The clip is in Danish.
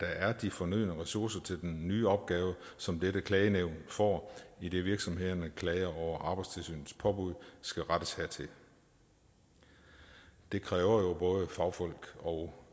er de fornødne ressourcer til den nye opgave som dette klagenævn får idet virksomhedernes klager over arbejdstilsynets påbud skal rettes hertil det kræver jo både fagfolk og